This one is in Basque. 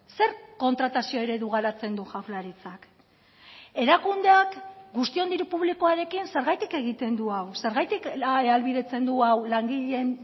zer kontratazio eredu garatzen du jaurlaritzak erakundeak guztion diru publikoarekin zergatik egiten du hau zergatik ahalbidetzen du hau langileen